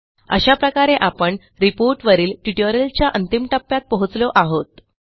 अशाप्रकारे आपण रिपोर्ट वरील ट्युटोरियलच्या अंतिम टप्प्यात पोहोचलो आहोत